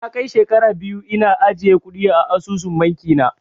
Na kai shekara biyu ina ajiye kuɗi a asusun bankin na